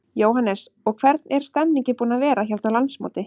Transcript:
Jóhannes: Og hvernig er stemmningin búin að vera hérna á landsmóti?